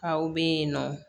Aw bɛ yen nɔ